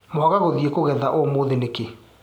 Mwaga gũthiĩ kũgetha ũmũthĩ nĩkĩ.